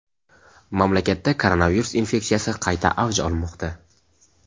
mamlakatda koronavirus infeksiyasi qayta avj olmoqda.